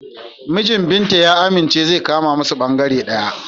Mijin Binta ya amince zai kama musu bangare ɗaya.